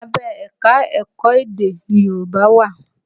Abẹ́ ẹ̀ka-ẹ̀kọ edé ni Yorùbá wà